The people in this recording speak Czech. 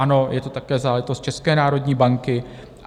Ano, je to také záležitost České národní banky.